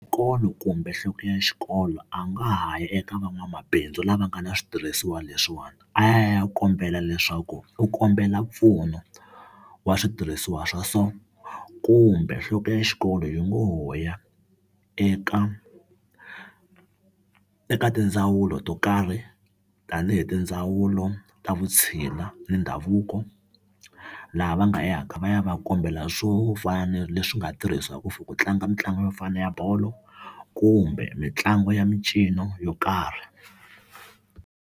Xikolo kumbe nhloko ya xikolo a nga ha ya eka van'wamabindzu lava nga na switirhisiwa leswiwani a ya kombela leswaku u kombela mpfuno wa switirhisiwa swa so kumbe nhloko ya xikolo yi ngo ho ya eka eka tindzawulo to karhi tanihi tindzawulo ta vutshila ni ndhavuko laha va nga yaka va ya va kombela swo fana na leswi nga tirhisiwaku for ku tlanga mitlangu yo fana ya bolo kumbe mitlangu ya mincino yo karhi.